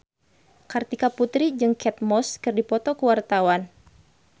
Kartika Putri jeung Kate Moss keur dipoto ku wartawan